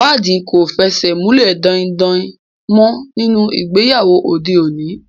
Ìwádìí kò fẹsẹ̀ múlẹ̀ daindain mọ́ nínú ìgbéyàwó òde òní.